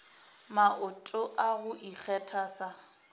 maoto a go ikgetha sa